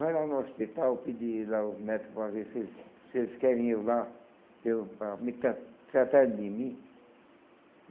Vai lá no hospital, pedir lá os médico para ver se eles se eles querem eu lá, para eu para me tra tratarem de mim.